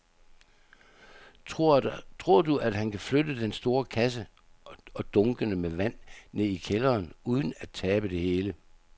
Tror du, at han kan flytte den store kasse og dunkene med vand ned i kælderen uden at tabe det hele?